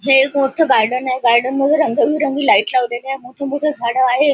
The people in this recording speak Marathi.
हे एक मोठ गार्डन आहे गार्डन मध्ये रंगबेरंग लाइट लावलेली आहे मोठ मोठी झाड आहे.